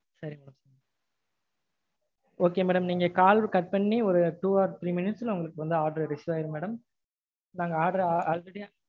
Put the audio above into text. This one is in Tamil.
okay madam. நீங்க call cut பண்ணி ஒரு two or three minutes ல உங்களுக்கு receive ஆயிரும் madam நாங்க order